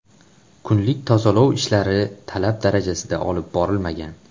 Kunlik tozalov ishlari talab darajasida olib borilmagan.